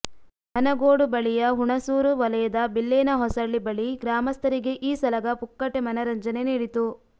ಹನಗೋಡು ಬಳಿಯ ಹುಣಸೂರು ವಲಯದ ಬಿಲ್ಲೇನ ಹೊಸಳ್ಳಿ ಬಳಿ ಗ್ರಾಮಸ್ಥರಿಗೆ ಈ ಸಲಗ ಪುಕ್ಕಟೆ ಮನರಂಜನೆ ನೀಡಿತು